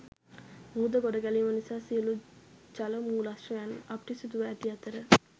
මුහුද ගොඩගැලීම නිසා සියලු ජල මූලාශ්‍රයන් අපිරිසිදුව ඇති අතර